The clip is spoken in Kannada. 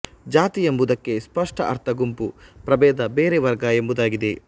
ಜಾತಿ ಎಂಬುದಕ್ಕೆ ಸ್ಪಷ್ಟ ಅರ್ಥ ಗುಂಪು ಪ್ರಬೇಧ ಬೇರೆ ವರ್ಗ ಎಂಬುದಾಗಿದೆ